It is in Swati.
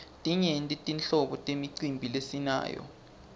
timyenti tinhlobo temicimbi lesinayo